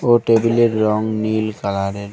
ও টেবিলের রং নীল কালারের।